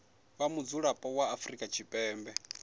vha mudzulapo wa afrika tshipembe